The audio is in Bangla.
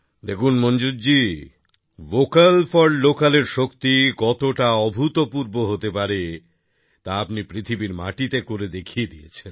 দেখুন Manzoor ji vocal for local এর শক্তি কতটা অভূতপূর্ব হতে পারে তা আপনি পৃথিবীর মাটিতে করে দেখিয়ে দিয়েছেন